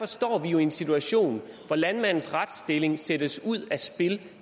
står vi i en situation hvor landmandens retsstilling sættes ud af spil